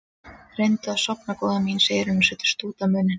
Reyndu að sofna góða mín, segir hún og setur stút á munninn.